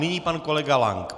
Nyní pan kolega Lank.